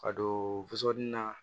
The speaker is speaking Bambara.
Ka don na